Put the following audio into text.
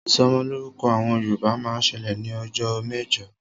Ìsọmọlọ́rúkọ àwọn Yorùbá máa ń ṣẹlẹ̀ ní ọjọ́ mẹ́jọ